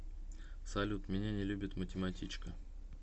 салют меня не любит математичка